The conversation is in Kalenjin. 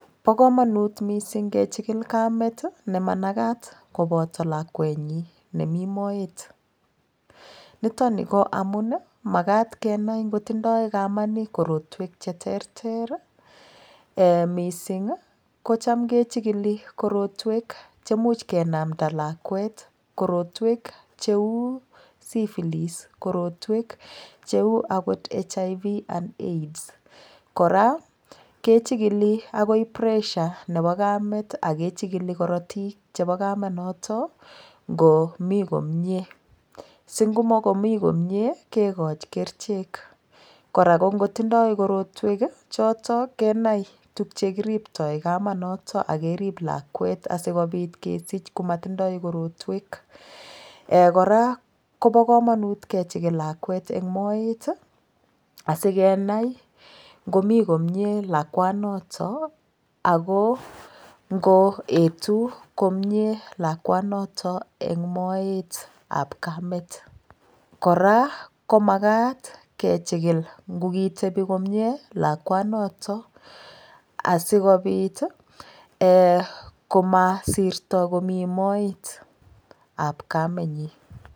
Bo kamonut mising' kechikil Kamet nemanakat koboto lakwenyi nemi moet nitoni ko amun makat kenai ngotindoi kamani korotwek cheterter mising' kocham kechikil korotwek chemuch kenamda lakwet korotwek cheu syphilis korotwek cheu akot HIV and aids kora kechikili akoi pressure nebo Kamet akechikili korotik chebo kamanoto ngomi komye singomokomi komye kekoch kerichek kora kongotindoi korotwek choto kenai tukye kiriptoi kamanoto akerib lakwet asikobit kesich komatindoi korotwek kora kobo komonut kechikil lakwet eng' moet asikenai ngomi komye lakwanoto ako ngoetu komye lakwanoto eng' moetab Kamet kora komakat kechikil ngokitebi komye lakwanoto asikobit komasirro komi moetab kamenyi